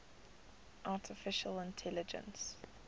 artificial intelligence